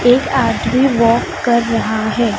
एक आदमी वाक कर रहा है।